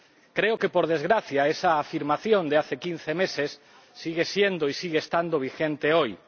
Creo que, por desgracia, esa afirmación de hace quince meses sigue siendo y sigue estando vigente hoy.